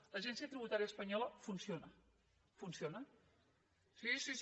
l’agència tributària espanyola funciona funciona sí sí sí